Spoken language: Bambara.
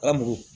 Ka mugu